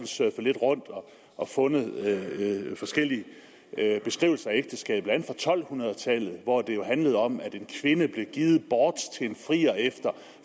surfet lidt rundt og fundet forskellige beskrivelser af ægteskabet blandt andet fra tolv hundrede tallet hvor det jo handlede om at en kvinde blev givet bort til en frier efter